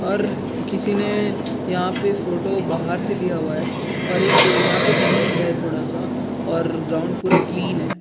और किसी ने यहाँ पे फोटो बाहर से लिया हुआ है और एक यहाँ पे धुंध है थोड़ा सा और ग्राउंड पूरा क्लीन है।